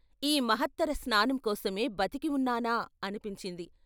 ఈ మహత్తర స్నానం కోసమే బతికి ఉన్నానా అనిపించింది.